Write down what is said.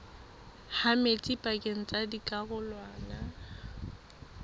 ha metsi pakeng tsa dikarolwana